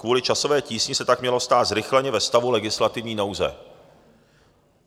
Kvůli časové tísni se tak mělo stát zrychleně ve stavu legislativní nouze.